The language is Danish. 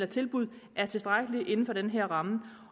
tilbud er tilstrækkelige inden for den her ramme